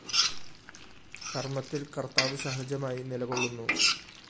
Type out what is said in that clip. കര്‍മ്മത്തില്‍ കര്‍ത്താവ് സഹജമായി നിലകൊള്ളുന്നു